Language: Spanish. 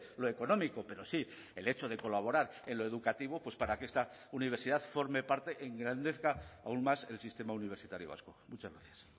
lo económico pero sí el hecho de colaborar en lo educativo para que esta universidad forme parte engrandezca aún más el sistema universitario vasco muchas gracias